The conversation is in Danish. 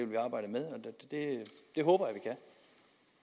håber